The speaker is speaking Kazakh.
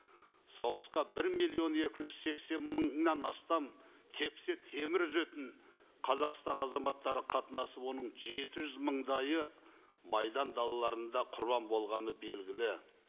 соғысқа бір миллион екі жүз сексен мыңнан астам тепсе темір үзетін қазақстан азаматтары қатынасып оның жеті жүз мыңдайы майдан далаларында құрбан болғаны белгілі